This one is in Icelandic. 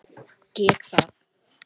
Gekk það?